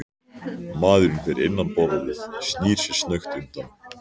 Maðurinn fyrir innan borðið snýr sér snöggt undan.